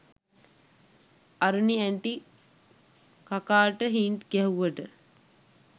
Aruni aunty කකාට hint ගැහුවට